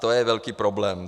To je velký problém.